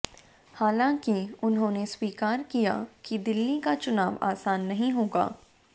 हाालंकि उन्होंने स्वीकार किया कि दिल्ली का चुनाव आसान नहीं होगा